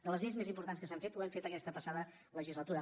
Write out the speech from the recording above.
de les lleis més importants que s’han fet ho hem fet aquesta passada legislatura